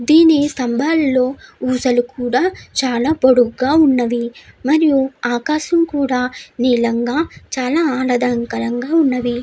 దీని ఈ స్తంభాలలో ఊసలు కూడా చాలా పొడుగ్గా ఉన్నవి. మరియు ఆకాశం కూడా నీలంగా చాలా ఆహ్లాదకరంగా ఉంది.